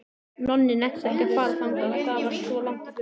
Nonni nennti ekki að fara þangað, það var svo langt í burtu.